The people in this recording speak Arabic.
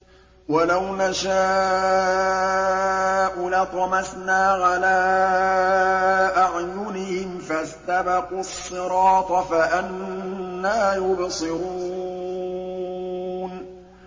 وَلَوْ نَشَاءُ لَطَمَسْنَا عَلَىٰ أَعْيُنِهِمْ فَاسْتَبَقُوا الصِّرَاطَ فَأَنَّىٰ يُبْصِرُونَ